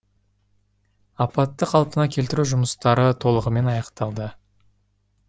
апатты қалпына келтіру жұмыстары толығымен аяқталды